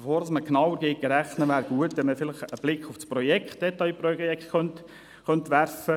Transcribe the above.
Bevor man beginnt, genauer zu rechnen, wäre es vielleicht gut, wenn man einen Blick auf das detaillierte Projekt werfen würde.